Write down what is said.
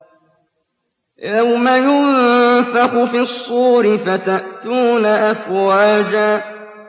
يَوْمَ يُنفَخُ فِي الصُّورِ فَتَأْتُونَ أَفْوَاجًا